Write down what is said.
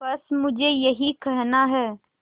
बस मुझे यही कहना है